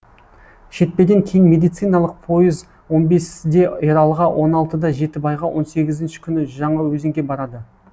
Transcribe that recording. шетпеден кейін медициналық пойыз он бесіде ералыға он алтыда жетібайға он сегізінші күні жаңаөзенге барады